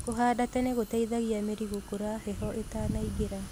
Kũhanda tene gũteithagia mĩri gũkũra heho ĩtanaingĩra.